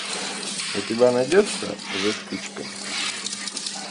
у тебя найдется за спичками